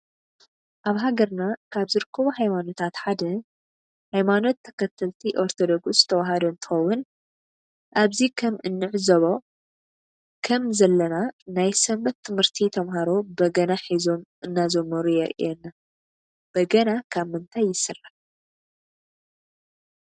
አብ ሃገርና ካበ ዝርከቡ ሃይማኖታት ሓደ ሃይማኖት ተከተልቲ አርቶዶክስ ተዋህዶ እንትኮውን አብዚ ከም እንዕዞቦ ከም ዘለና ናይ ስንበት ትምህርቲ ተመሃሮ በገና ሒዞም እናዘመሩ የሪኢየና በገና ካብ ምንታይ ይስራሕ።